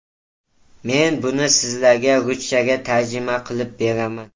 Men buni sizlarga ruschaga tarjima qilib beraman.